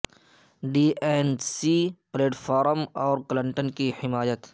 D N C platform اور Clinton کی حمایت